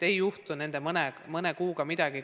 Ei juhtu mõne kuuga midagi.